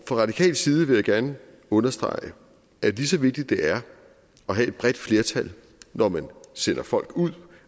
radikales side vil jeg gerne understrege at lige så vigtigt det er at have et bredt flertal når man sender folk ud